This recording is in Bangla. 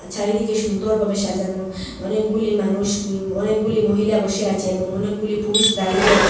চারিদিকে সুন্দরভাবে সাজানো অনেকগুলি মানুষ উম অনেকগুলি মহিলা বসে আছে এবং অনেকগুলি পুরুষ দাঁড়িয়ে আছে।